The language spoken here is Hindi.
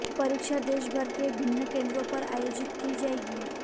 परीक्षा देश भर के विभिन्न केंद्रों पर आयोजित की जाएगी